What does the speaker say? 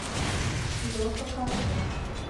леха карманов